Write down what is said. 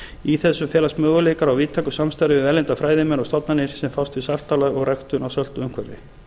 í þessu felast möguleikar á víðtæku samstarfi við erlenda fræðimenn og stofnanir sem fást við saltálag og ræktun í söltu umhverfi